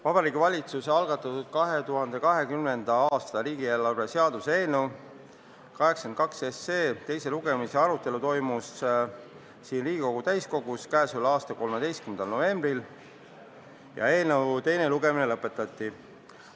Vabariigi Valitsuse algatatud 2020. aasta riigieelarve seaduse eelnõu 82 teise lugemise arutelu toimus siin Riigikogu täiskogus k.a 13. novembril ja eelnõu teine lugemine lõpetati.